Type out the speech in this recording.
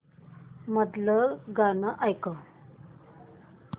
मधलं गाणं ऐकव